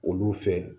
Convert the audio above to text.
Olu fɛ